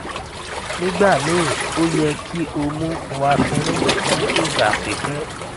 nigbamii o yẹ ki o mu warferin fun igba pipẹ